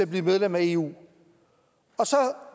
bliver medlem af eu og så